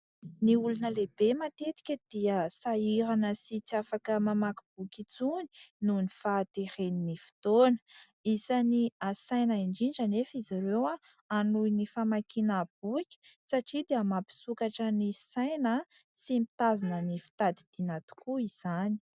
Ny olona lehibe matetika dia sahirana sy tsy afaka mamaky boky intsony noho ny fahateren'ny fotoana, isany hasaina indrindra anefa izy ireo hanohy ny famakiana boky satria dia mampisokatra ny saina sy mitazona ny fitadidiana tokoa izany.